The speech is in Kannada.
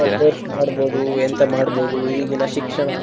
ಮಾಡ್ಬೋದು ಎಂತ ಮಾಡ್ಬೋದು ಈಗಿನ ಶಿಕ್ಷಣ.